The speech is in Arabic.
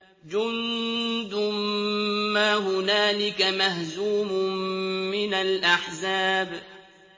جُندٌ مَّا هُنَالِكَ مَهْزُومٌ مِّنَ الْأَحْزَابِ